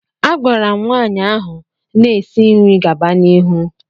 A gwara m nwaanyị ahụ na-esi nri gaba n'ihu.